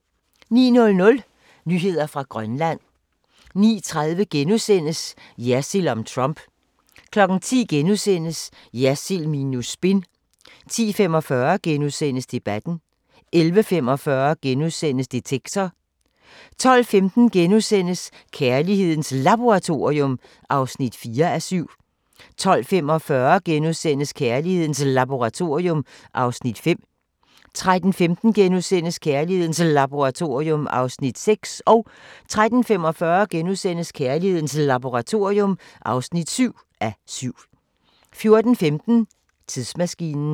09:00: Nyheder fra Grønland 09:30: Jersild om Trump * 10:00: Jersild minus spin * 10:45: Debatten * 11:45: Detektor * 12:15: Kærlighedens Laboratorium (4:7)* 12:45: Kærlighedens Laboratorium (5:7)* 13:15: Kærlighedens Laboratorium (6:7)* 13:45: Kærlighedens Laboratorium (7:7)* 14:15: Tidsmaskinen